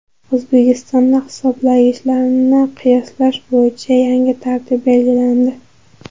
O‘zbekistonda hisoblagichlarni qiyoslash bo‘yicha yangi tartib belgilandi.